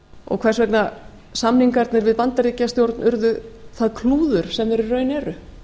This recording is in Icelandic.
og hvers vegna samningarnir við bandaríkjastjórn urðu það klúður sem þeir í raun eru